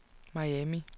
Miami